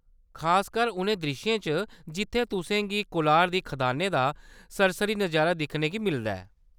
खासकर उनें द्रिश्शें च जित्थै तुसें गी कोलार दियें खदानें दा सरसरी नजारा दिक्खने गी मिलदा ऐ।